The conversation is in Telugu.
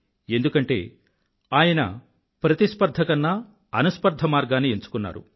ఎందుకంటే ఆయన ప్రతిస్పర్థ కన్నా అనుస్పర్థ మార్గాన్ని ఎంఛుకున్నారు